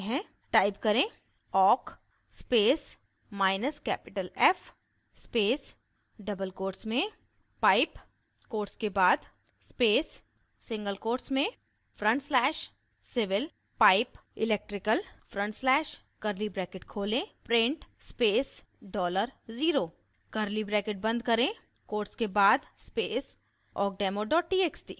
type करें awk space minus capital f space double quotes में pipe quotes के बाद space single quotes में front slash civil pipe electrical front slash curly bracket खोलें {print space dollar0 0} curly bracket बंद करें quotes के बाद space awkdemo txt